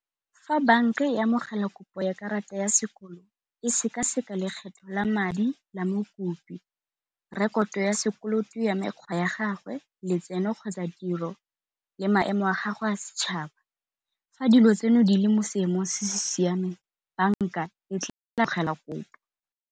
Fa banka e amogela kopo ya karata ya sekolo e seka-seka lekgetho la madi la mokopi, rekoto ya sekoloto ya mekgwa ya gagwe, letseno kgotsa tiro le maemo a gago a setšhaba. Fa dilo tseno di le mo seemong se se siameng banka e tla amogela kopo.